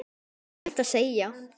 Hvað er hægt að segja?